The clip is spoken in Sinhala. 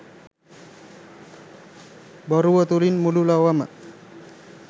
බොරුව තුළින් මුළු ලොවම